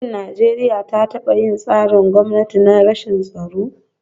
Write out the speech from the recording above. Shin Najeriya ta taba yin tsarin gwamnati na rashin tsaro?